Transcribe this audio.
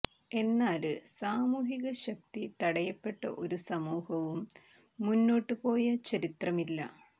എന്നാല് സാമൂഹിക ശക്തി തടയപ്പെട്ട ഒരു സമൂഹവും മുന്നോട്ടു പോയ ചരിത്രമില്ല